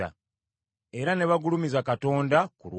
Era ne bagulumiza Katonda ku lwange.